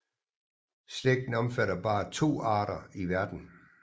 Slægten omfatter bare to arter i verden